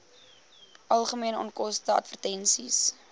algemene onkoste advertensies